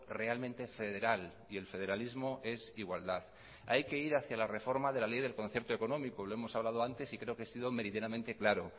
realmente federal y el federalismo es igualdad hay que ir hacia la reforma de la ley del concierto económico y lo hemos hablado antes y creo que he sido meridianamente claro